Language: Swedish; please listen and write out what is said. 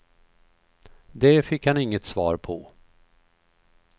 Det fick han inget svar på.